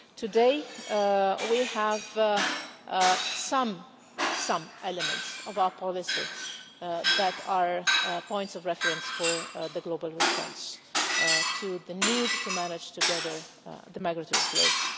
Today, we have some some elements of our policy that are points of reference for the global response, to the need to manage together the migratory flows.